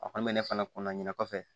A kɔni bɛ ne fana kunna ɲina kɔfɛ